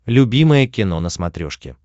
любимое кино на смотрешке